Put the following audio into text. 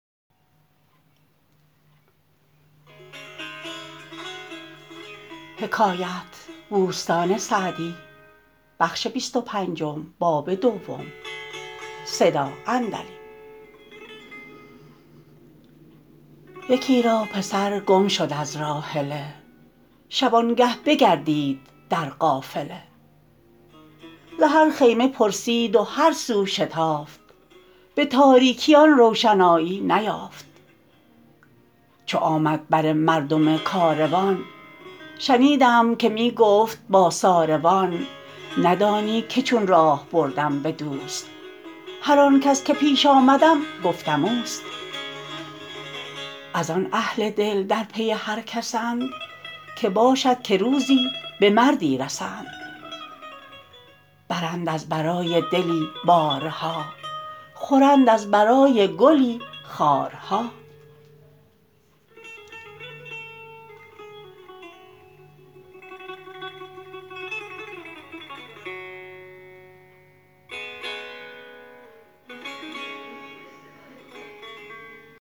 یکی را پسر گم شد از راحله شبانگه بگردید در قافله ز هر خیمه پرسید و هر سو شتافت به تاریکی آن روشنایی بیافت چو آمد بر مردم کاروان شنیدم که می گفت با ساروان ندانی که چون راه بردم به دوست هر آن کس که پیش آمدم گفتم اوست از آن اهل دل در پی هر کسند که باشد که روزی به مردی رسند برند از برای دلی بارها خورند از برای گلی خارها